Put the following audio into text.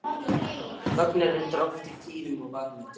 Þögnin er reyndar oft og tíðum vanmetin.